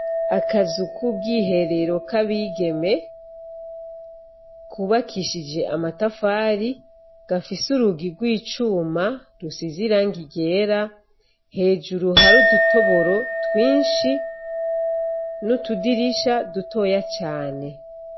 Akazu ku bwiherero k'abigeme kubakishije amatafari, gafise urugi rw'icuma rusize irangi ryera, hejuru hari udutoboro twinshi n'utudirisha dutoya cane.